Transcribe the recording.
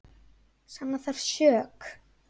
Sanna þarf sök.